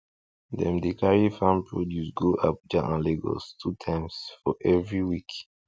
dem dey carry farm produce go abuja and lagos two times for every week